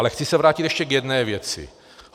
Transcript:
Ale chci se vrátit ještě k jedné věci.